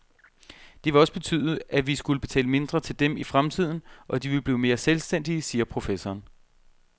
Det vil også betyde, at vi skulle betale mindre til dem i fremtiden, og at de vil blive mere selvstændige, siger professoren.